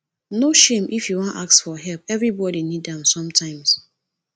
no shame if you wan ask for help everybodi need am sometimes